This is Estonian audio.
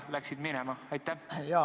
Nüüd läksid nad ju saalist minema.